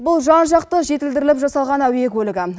бұл жан жақты жетілдіріліп жасалған әуе көлігі